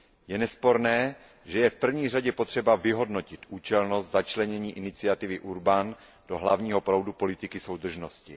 Je nesporné, že je v první řadě potřeba vyhodnotit účelnost začlenění iniciativy Urban do hlavního proudu politiky soudržnosti.